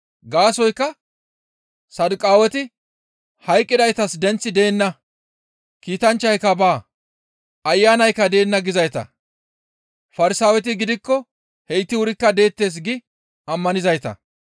Gaasoykka Saduqaaweti, «Hayqqidaytas denththi deenna; kiitanchchayka baa; Ayanaykka deenna gizayta; Farsaaweti gidikko heyti wurikka deettes» gi ammanizayta.